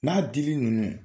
N'a dili ninnu